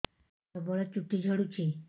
ପ୍ରବଳ ଚୁଟି ଝଡୁଛି